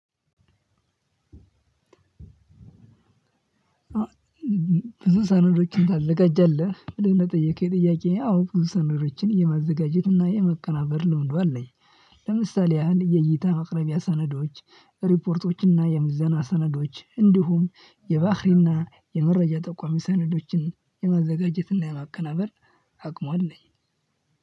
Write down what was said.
ብዙ ሰነዶችን ታዘጋጃለህ። ብለህ ለጠየከኝ ጥያቄ አው ብዙ ሰነዶችን የማዘጋጀትና የማቀናበር ልምዱ አለኝ። ለምሳሌ ያህል የይታ ማቅረቢያ ሰነዶች፣ ሪፖርቶች እና የምዘና ሰነዶች እንዲሁም የባህሪና የመረጃ ጠቋሚ ሰነዶችን የማዘጋጀትና የማቀናበር አቅሙ አለኝ።